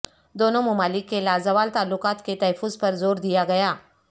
دونوں ممالک کے لازوال تعلقات کے تحفظ پرزوردیا گیا